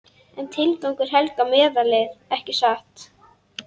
En tilgangurinn helgar meðalið, ekki satt?